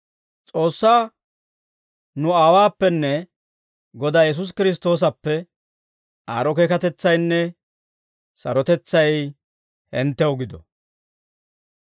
S'oossaa nu Aawuwaappenne Godaa Yesuusi Kiristtoosappe, aad'd'o keekatetsaynne sarotetsay hinttenttoo gido.